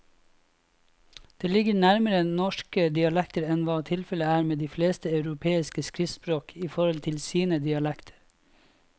Det ligger nærmere norske dialekter enn hva tilfellet er med de fleste europeiske skriftspråk i forhold til sine dialekter.